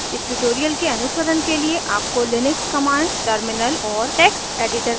इस ट्यूटोरियल के अनुसरण के लिए आपको लिनक्स कमांड्स टर्मिनल और टेक्स्ट एडिटर का ज्ञान होना ज़रूरी है